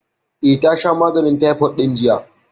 Eh, ta sha maganin taifot ɗin jiya